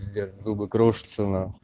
пиздец зубы крошатся нахуй